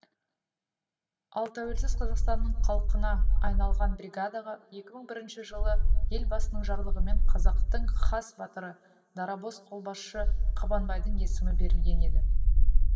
ал тәуелсіз қазақстанның қалқанына айналған бригадаға екі мың бірінші жылы елбасының жарлығымен қазақтың хас батыры дарабоз қолбасшы қабанбайдың есімі берілген еді